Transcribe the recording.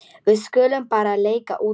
Við skulum bara leika úti.